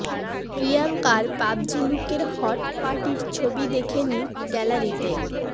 প্রিয়ঙ্কার PUBG লুকের hot পার্টির ছবি দেখে নিন গ্যালারিতে